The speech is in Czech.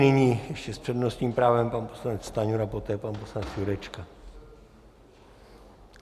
Nyní ještě s přednostním právem pan poslanec Stanjura, poté pan poslanec Jurečka.